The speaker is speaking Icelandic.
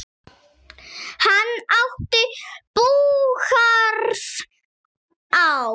Hann átti búgarð á